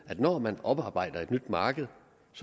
at når man oparbejder et nyt marked